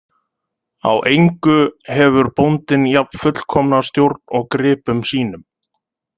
Á engu hefur bóndinn jafn fullkomna stjórn og gripum sínum.